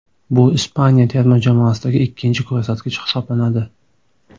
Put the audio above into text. Bu Ispaniya terma jamoasidagi ikkinchi ko‘rsatkich hisoblanadi.